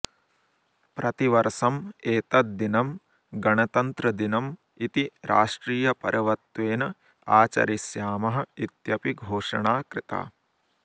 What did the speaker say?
प्रतिवर्षम् एतत् दिनं गणतन्त्रदिनम् इति राष्ट्रियपर्वत्वेन आचरिष्यामः इत्यपि घोषणा कृता